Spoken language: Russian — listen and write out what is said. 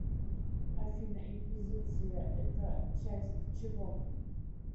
афина инквизиция это часть чего